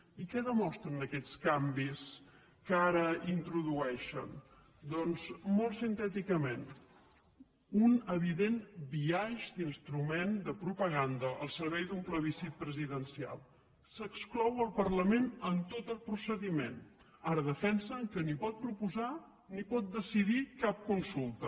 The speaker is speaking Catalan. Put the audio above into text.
i què demostren aquests canvis que ara hi introdueixen doncs molt sintèticament un evident biaix d’instrument de propaganda al servei d’un plebiscit presidencial s’exclou el parlament en tot el procediment ara defensen que ni pot proposar ni pot decidir cap consulta